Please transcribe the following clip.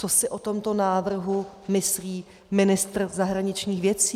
Co si o tomto návrhu myslí ministr zahraničních věcí?